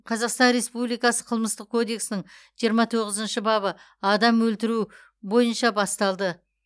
қазақстан республикасы қылмыстық кодексінің жиырма тоғызыншы бабы адам өлтіру бойынша басталды